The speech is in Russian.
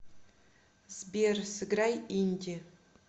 сбер сыграй инди